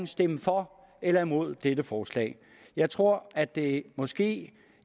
stemme for eller imod dette forslag jeg tror at det måske